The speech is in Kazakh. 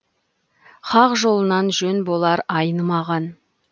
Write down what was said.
хақ жолынан жөн болар айнымаған